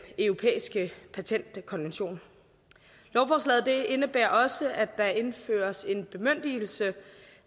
europæiske patentkonvention lovforslaget indebærer også at der indføres en bemyndigelse